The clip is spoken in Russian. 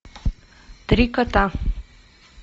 три кота